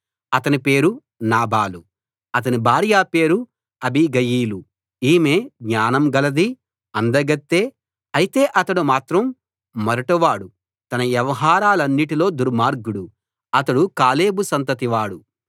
అతని పేరు నాబాలు అతని భార్య పేరు అబీగయీలు ఈమె జ్ఞానం గలదీ అందగత్తే అయితే అతడు మాత్రం మొరటు వాడు తన వ్యవహారాలన్నిటిలో దుర్మార్గుడు అతడు కాలేబు సంతతివాడు